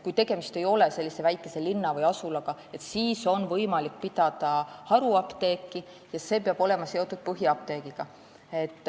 Kui tegemist ei ole väikese linna või asulaga, siis on võimalik pidada haruapteeki ja see peab olema seotud põhiapteegiga.